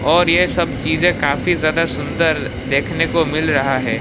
और ये सब चीजे काफी ज्यादा सुंदर देखने को मिल रहा है।